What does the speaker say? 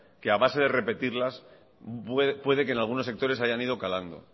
que a base de repetirlas puede que en algunos sectores hayan ido calando